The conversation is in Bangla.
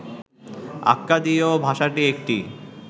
আক্কাদীয় ভাষাটি একটি